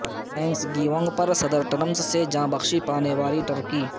thanks giving پر صدر Trump سے جاں بخشی پانے والی ٹرکی